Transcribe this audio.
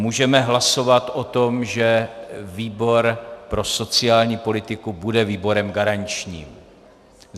Můžeme hlasovat o tom, že výbor pro sociální politiku bude výborem garančním.